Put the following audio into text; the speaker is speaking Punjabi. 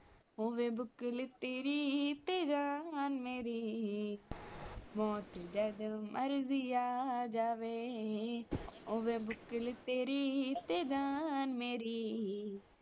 ਹੋਵੇ ਭੁਕਲ ਤੇਰੀ ਤੇ ਜਾਨ ਮੇਰੀ ਮੌਤ ਜਦ ਮਰਿਜੀ ਆ ਜਾਵੇ ਹੋਵੇ ਭੁਕਲ ਤੇਰੀ ਤੇ ਜਾਨ ਮੇਰੀ